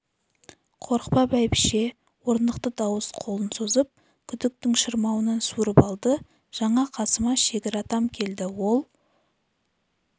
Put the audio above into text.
қорықпа бәйбіше орнықты дауыс қолын созып күдіктің шырмауынан суырып алды жаңа қасыма шегір атам келді ол